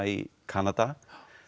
í Kanada